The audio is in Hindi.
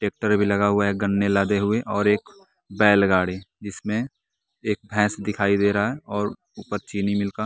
ट्रैक्टर भी लगा हुए है एक गन्ने लादें हुए और एक बैलगाड़ी जिसमें एक भैंस दिखाई दे रहा है और ऊपर चीनी मिल का--